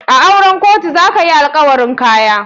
A auren kotu za ka hi alkawarin Kaya.